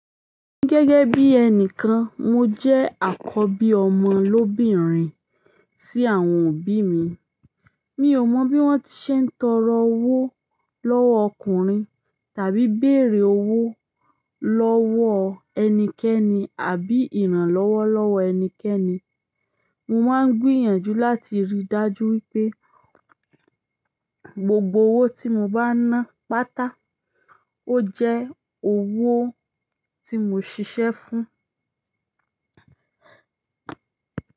Gẹ́gẹ́ bí ẹnìkan, mo jẹ́ àkọ́bí ọmọ lóbìnrin sí àwọn òbí mi. Mi ò mo bí wọ́n ti ṣe ń tọrọ owó lọ́wọ́ ọkùnrin, tàbí bèrè owó lọ́wọ́ ẹnikẹ́ni, àbí ìrànlọ́wọ́ lọ́wọ́ ẹnikẹ́ni. Mo máa ń gbìyànjú láti rí i dájú wípé gbogbo owó tí mo bá ń ná pàtá, ó jẹ́ owó tí mo ṣiṣẹ́ fún.